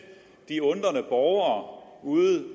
de undrende borgere ude